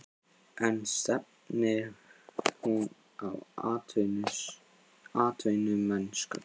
En stefnir hún á atvinnumennsku?